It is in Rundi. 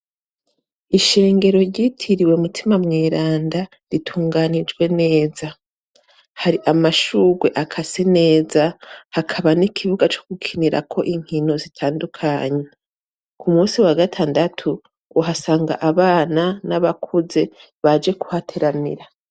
Ishengero ryitiriwe Mutimamweranda, ritunganijwe neza. Hari amashurwe akase neza, hakaba n'ikibuga cogukinirako inkino zitandukanye. Kumunsi War gatandatu uhasanga abana n'abakuze baje kuhateramira.